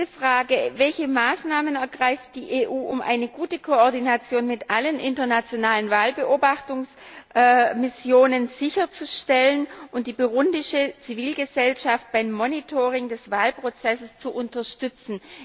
Zweitens Welche Maßnahmen ergreift die EU, um eine gute Koordination mit allen internationalen Wahlbeobachtungsmissionen sicherzustellen und die burundische Zivilgesellschaft beim Monitoring des Wahlprozesses zu unterstützen?